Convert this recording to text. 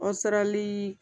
Ɔsarali